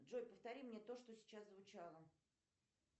джой повтори мне то что сейчас звучало